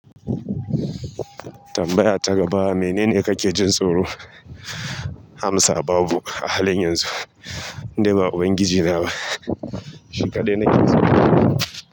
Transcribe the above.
Tambaya ta gaba menene kake jin tsoro? Amsa babu, a halin yanzu in dai ba ubangiji na ba. Shi kaɗai nake tsoro.